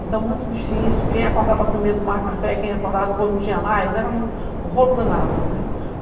Então, muito difícil, quem acordava primeiro tomava café, quem acordava depois não tinha mais, era um um rolo danado, né?